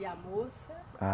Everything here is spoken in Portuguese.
E a moça? Ah